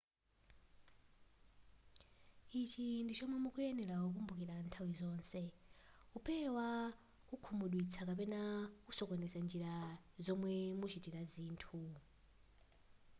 ichi ndi chomwe mukuyenera kukumbukira nthawi zonse kupewa kukhumudwitsidwa kapena kusokoneza njira zomwe muchitira zinthu